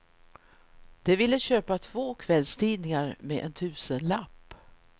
De ville köpa två kvällstidningar med en tusenlapp.